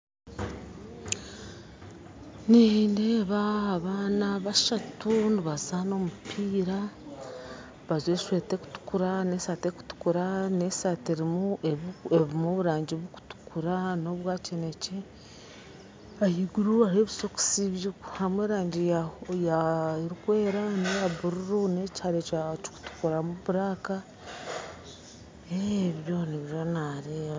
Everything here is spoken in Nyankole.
Nindeeba abaana bashatu nibazaana omupiira bajwaire eshweta erukutukura n'esati erukutukura n'esati erumu oburangi bukutukura n'obwakinekye ahaiguru hariyo obusokisi harumu erangi erukwera neya bururu nekihare kikutukuramu buraka ebyo nibyo nareeba.